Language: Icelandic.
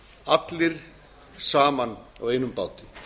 allir saman á einum báti